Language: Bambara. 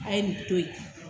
A ye nin to yen.